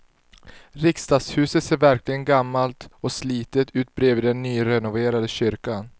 Riksdagshuset ser verkligen gammalt och slitet ut bredvid den nyrenoverade kyrkan.